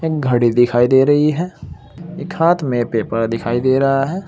एक घड़ी दिखाई दे रही है एक हाथ में पेपर दिखाई दे रहा है।